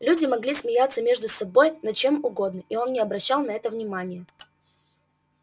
люди могли смеяться между собой над чем угодно и он не обращал на это внимания